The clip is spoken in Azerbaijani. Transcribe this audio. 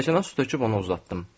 Stəkana su töküb onu uzatdım.